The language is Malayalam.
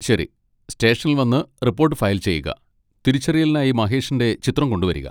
ശരി, സ്റ്റേഷനിൽ വന്ന് റിപ്പോർട്ട് ഫയൽ ചെയ്യുക, തിരിച്ചറിയലിനായി മഹേഷിന്റെ ചിത്രം കൊണ്ടുവരിക.